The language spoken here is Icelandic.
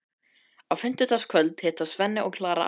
Á fimmtudagskvöld hittast Svenni og Klara aftur.